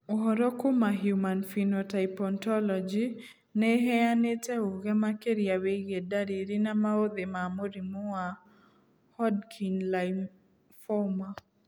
Ũhoro kuma Human Phenotype Ontology nĩ ĩheanĩte ũge makĩria wĩgiĩ ndariri na maũthĩ ma mũrimũ wa Hodgkin lymphoma.